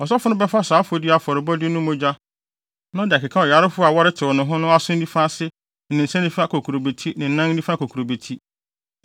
Ɔsɔfo no bɛfa saa afɔdi afɔrebɔde mogya na ɔde akeka ɔyarefo a wɔretew ne ho no aso nifa ase ne ne nsa nifa kokurobeti ne ne nan nifa kokurobeti.